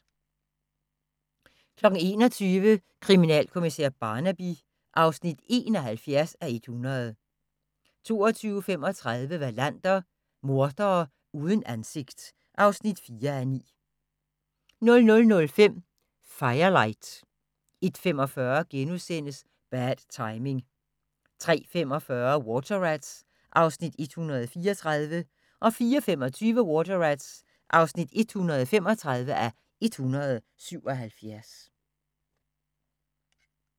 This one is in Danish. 21:00: Kriminalkommissær Barnaby (71:100) 22:35: Wallander: Mordere uden ansigt (4:9) 00:05: Firelight 01:45: Bad Timing * 03:45: Water Rats (134:177) 04:25: Water Rats (135:177)